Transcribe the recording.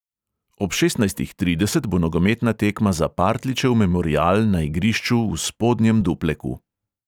Ob šestnajstih trideset bo nogometna tekma za partljičev memorial na igrišču v spodnjem dupleku.